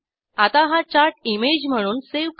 आता हा chart image म्हणूनsave करू